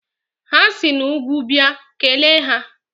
Ha si n'úgwú bịa, kelee ha!